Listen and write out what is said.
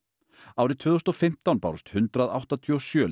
árið tvö þúsund og fimmtán bárust hundrað áttatíu og sjö